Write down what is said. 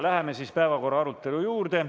Läheme päevakorrapunkti arutelu juurde.